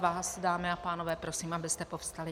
Vás, dámy a pánové, prosím, abyste povstali.